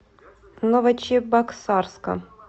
новочебоксарска